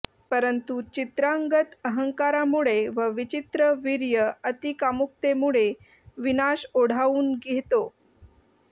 परंतु चित्रांगद अहंकारामुळे व विचित्रवीर्य अतिकामुकतेमुळे विनाश ओढावून घेतो